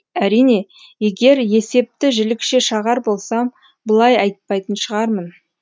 әрине егер есепті жілікше шағар болсам бұлай айтпайтын шығармын